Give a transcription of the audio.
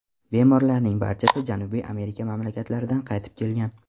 Bemorlarning barchasi Janubiy Amerika mamlakatlaridan qaytib kelgan.